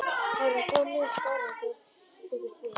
Þær voru þó mun skárri en þeir bjuggust við.